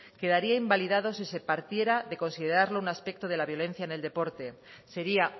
quedaría invalidado si se partiera de considerarlo un aspecto de la violencia en el deporte sería